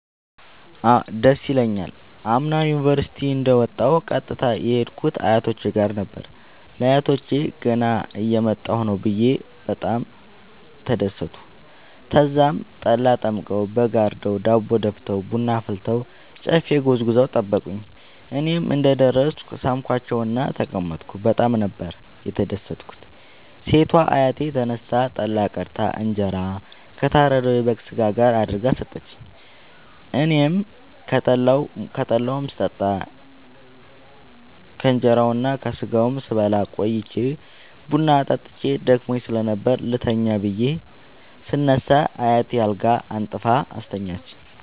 ደስ ይለኛል። አምና ዩኒቨርሢቲ እንደ ወጣሁ ቀጥታ የሄድኩት አያቶቼ ጋር ነበር። ለአያቶቸ ገና እየመጣሁ ነዉ ብየ በጣም ተደሠቱ። ተዛም ጠላ ጠምቀዉ በግ አርደዉ ዳቦ ደፍተዉ ቡና አፍልተዉ ጨፌ ጎዝጉዘዉ ጠበቁኝ። እኔም እንደ ደረስኩ ሣምኳቸዉእና ተቀመጥኩ በጣም ነበር የተደትኩት ሴቷ አያቴ ተነስታ ጠላ ቀድታ እንጀራ ከታረደዉ የበግ ስጋ ጋር አድርጋ ሠጠችኝ። አኔም ከጠላዉም ስጠጣ ከእንራዉና ከስጋዉም ስበላ ቆይቼ ቡና ጠጥቼ ደክሞኝ ስለነበር ልተኛ ብየ ስነሳ አያቴ አልጋ አንጥፋ አስተኛችኝ።